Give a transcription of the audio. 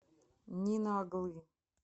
нина оглы